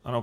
Ano.